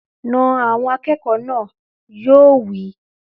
Na àwọn akẹ́kọ̀ọ́ náà! Yóò wí.